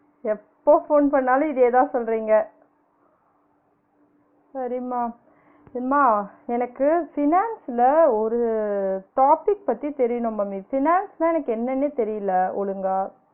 எப்ப போன் பண்ணாலும் இதே தான் சொல்றிங்க சரிம்மா, எம்மா எனக்கு finance ல ஒரு topic பத்தி தெரியனும் mummy finance னா எனக்கு என்னனே தெரியல ஒழுங்கா